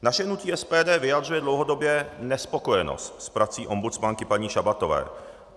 Naše hnutí SPD vyjadřuje dlouhodobě nespokojenost s prací ombudsmanky, paní Šabatové.